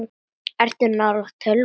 Ertu nálægt tölvu?